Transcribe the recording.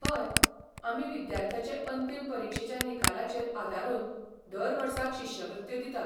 हय, आमी विद्यार्थ्याचे अंतीम परीक्षेच्या निकालाचेर आदारून दर वर्साक शिश्यवृत्त्यो दितात.